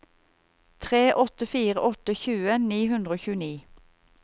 tre åtte fire åtte tjue ni hundre og tjueni